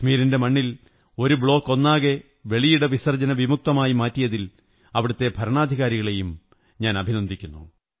കശ്മീരിന്റെ മണ്ണിൽ ഒരു ബ്ലോക്ക് ഒന്നാകെ വെളിയിട വിസര്ജ്ജ്നമുക്തമാക്കി മാറ്റിയതിൽ അവിടത്തെ ഭരണാധികാരികളെയും അഭിനന്ദിക്കുന്നു